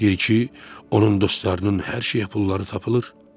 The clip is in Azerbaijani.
Deyir ki, onun dostlarının hər şeyə pulları tapılır.